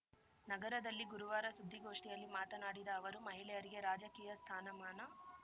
ನಗರದಲ್ಲಿ ಗುರುವಾರ ಸುದ್ದಿಗೋಷ್ಠಿಯಲ್ಲಿ ಮಾತನಾಡಿದ ಅವರು ಮಹಿಳೆಯರಿಗೆ ರಾಜಕೀಯ ಸ್ಥಾನಮಾನ